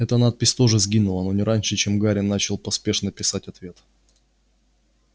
эта надпись тоже сгинула но не раньше чем гарри начал поспешно писать ответ